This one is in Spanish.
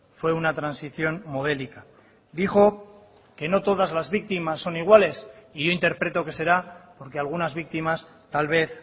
fue una transición modélica dijo que no todas las víctimas son iguales y yo interpreto que será porque algunas víctimas tal vez